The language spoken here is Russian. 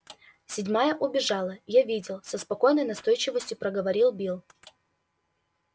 седьмая убежала я видел со спокойной настойчивостью проговорил билл